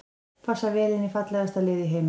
Passar vel inn í fallegasta lið í heimi.